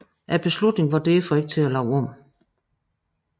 Beslutningen var derefter ikke til at lave om